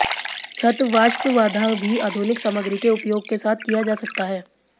छत वाष्प बाधा भी आधुनिक सामग्री के उपयोग के साथ किया जा सकता है